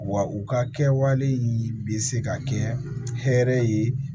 Wa u ka kɛwale bɛ se ka kɛ hɛrɛ ye